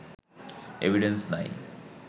evidence নাই